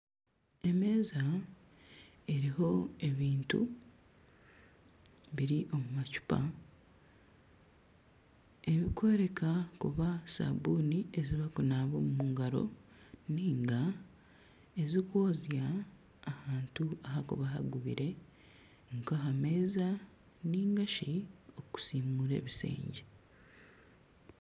Emeeza eriho ebintu biri omu macuupa ebikworeka kuba sabuuni ezibakunaba omu ngaro ninga ezikwozya ahantu ahakuba hangubire nka aha meeza ningashi okusiimura ebishengye.